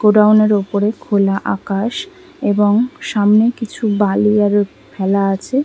গোডাউনের ওপরে খোলা আকাশ এবং সামনে কিছু বালি আরও ফেলা আছে।